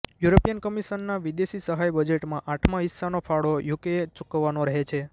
European કમિશનના વિદેશી સહાય બજેટમાં આઠમા હિસ્સાનો ફાળો યુકેએ ચુકવવાનો રહે છે